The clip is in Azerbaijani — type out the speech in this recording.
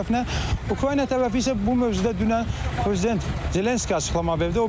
Ukrayna tərəfi isə bu mövzuda dünən prezident Zelenski açıqlama verdi.